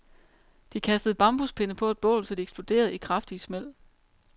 De kastede bambuspinde på et bål, så de eksploderede i kraftige smæld.